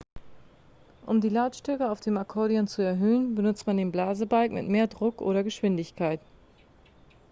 um die lautstärke auf dem akkordeon zu erhöhen benutzt man den blasebalg mit mehr druck oder geschwindigkeit